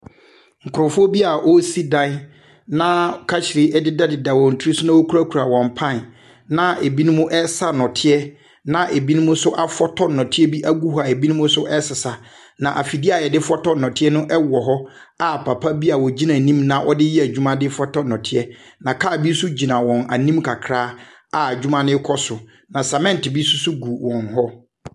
Nkurɔfoɔ bi a wɔresi dan, na kahyire dedadeda wɔn tiri so na wɔkurakura wɔn pan, na ebinom resa nnɔteɛ, na ebinom nso afɔtɔ nnɔteɛ bi agu hɔ a ebinom nso resesa, na afidie a wɔde fɔtɔ nnɔteɛ no wɔ hɔ a papa bi a ɔgyina anim na ɔde reyɛ adwuma de fɔtɔ nnɔteɛ, na kaa bi nso gyina wɔn anim kakra a adwuma no rekɔ so, na sɛmɛnte bi nso so gu wɔn hɔ.